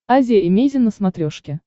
азия эмейзин на смотрешке